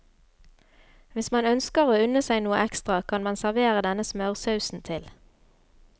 Hvis man ønsker å unne seg noe ekstra kan man servere denne smørsausen til.